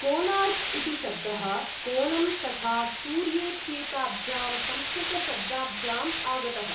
कोणार्क' इति शब्दः कोणं तथा सूर्येत्येताभ्यां संस्कृतशब्दाभ्याम् आगतः।